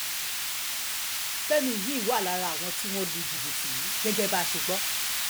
fẹ́mi yìí wà lára àwọn tí wọ́n lu jìbìtì yìí gẹ́gẹ́ bá a ṣe gbọ́